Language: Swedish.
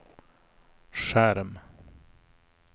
skärm